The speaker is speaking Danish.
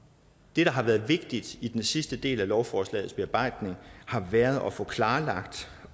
det der har været vigtigt i den sidste del af lovforslagets bearbejdning har været at få klarlagt